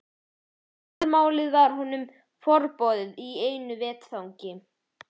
Og móðurmálið varð honum forboðið í einu vetfangi.